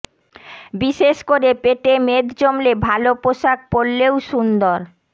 বিশেষ করে পেটে মেদ জমলে ভালো পোশাক পরলেও সুন্দর